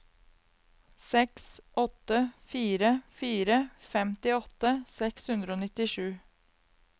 seks åtte fire fire femtiåtte seks hundre og nittisju